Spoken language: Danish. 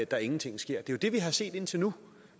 der ingenting sker det er jo det vi har set indtil nu